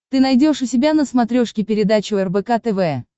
ты найдешь у себя на смотрешке передачу рбк тв